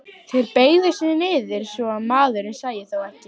Þeir beygðu sig niður svo að maðurinn sæi þá ekki.